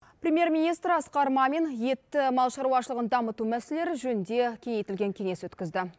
премьер министр асқар мамин етті мал шаруашылығын дамыту мәселелері жөнінде кеңейтілген кеңес өткізді